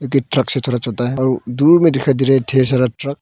Truck से है और दूर में दिखाई दे रहा है ढेर सारा ट्रक ।